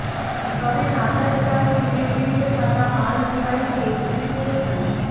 তবে Qatar Stars লিগের শীর্ষে থাকা আল দুহাইলকে তৃতীয় স্থানে